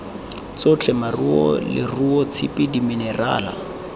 tsotlhe makgong leruo tshipi diminerala